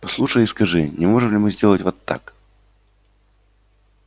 послушай и скажи не можем ли мы сделать вот так